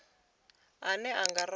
ane ra nga a wana